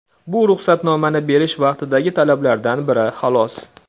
Bu ruxsatnomani berish vaqtidagi talablardan biri, xolos.